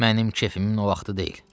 Mənim kefimin o vaxtı deyil.